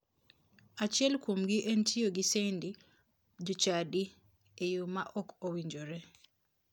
Achiel kuomgi en tiyo gi sendi jochadi e yo ma ok owinjore.